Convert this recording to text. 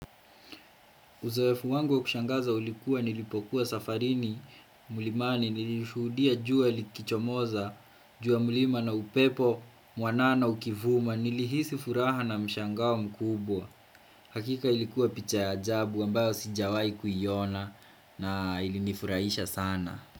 Uzoefu wangu wa kushangaza ulikuwa nilipokuwa safarini, mlimani, nilishuhudia jua likichomoza, juu ya mlima na upepo, mwanana ukivuma, nilihisi furaha na mshangao mkubwa. Hakika ilikuwa picha ya ajabu, ambayo sijawahi kuiona na ilinifurahisha sana.